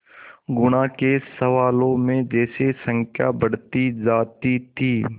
गुणा के सवालों में जैसे संख्या बढ़ती जाती थी